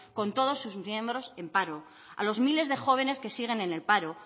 con todos sus miembros en paro a los miles de jóvenes que siguen en el paro